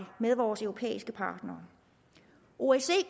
med vores europæiske partnere osce